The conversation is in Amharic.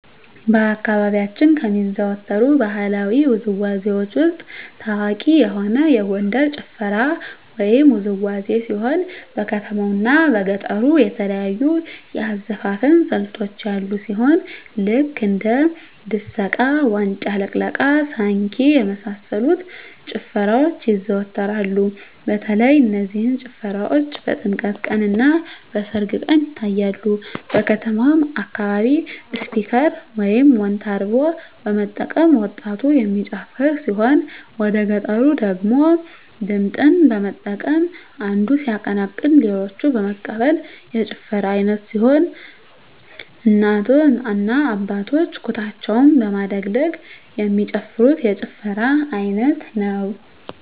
በአካባቢያችን ከሚዘወተሩ ባህለዊ ውዝዋዜዎች ውስጥ ታዋቂ የሆነ የጎንደር ጭፈራ ወይም ውዝዋዜ ሲሆን በከተማው እና በገጠሩ የተለያዩ የአዘፋፈን ስልቶች ያሉ ሲሆን ልክ እንደ ድሰቃ; ዋጫ ልቅለቃ; ሳንኪ እና የመሳሰሉት ጭፈራዎች ይዘዎተራሉ በተለይ እነዚህ ጭፈራዎች በጥምቀት ቀን; እና በሰርግ ቀን ይታያሉ። በከተማው አካባቢ ስፒከር (ሞንታርቦ) በመጠቀም ወጣቱ የሚጨፍር ሲሆን ወደገጠሩ ደግሞ ድምፅን በመጠቀም አንዱ ሲያቀነቅን ሌሎች በመቀበል የጭፈራ አይነት ሲሆን እናቶ እና አባቶች ኩታቸውን በማደግደግ የሚጨፍሩት የጭፈራ አይነት ነው።